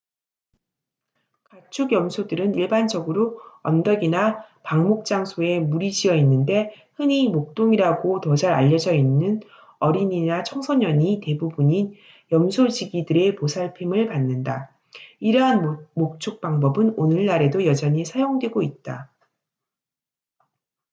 가축 염소들은 일반적으로 언덕이나 방목 장소에 무리 지어 있는데 흔히 목동이라고 더 잘 알려져있는 어린이나 청소년이 대부분인 염소 지기들의 보살핌을 받는다 이러한 목축 방법은 오늘날에도 여전히 사용되고 있다